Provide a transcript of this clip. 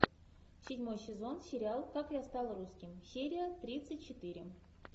седьмой сезон сериал как я стал русским серия тридцать четыре